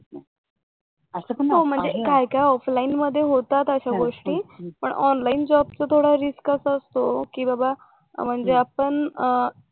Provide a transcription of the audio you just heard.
काही काही ऑफलाईन मध्ये होतात अशा गोष्टी पण ऑनलाईन जॉबचा थोडा रिस्कच असतो कि बाबा म्हणजे आपण